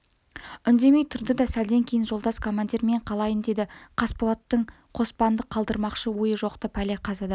үндемей тұрды да сәлден кейін жолдас командир мен қалайын деді қасболаттың қоспанды қалдырмақшы ойы жоқ-ты пәле-қазадан